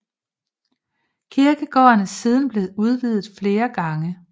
Kirkegården er siden blev udvidet flere gange